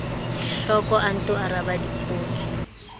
hloko o nto araba dipotso